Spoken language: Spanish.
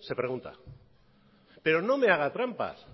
se pregunta pero no me haga trampas